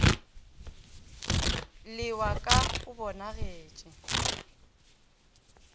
le wa ka o bonagetše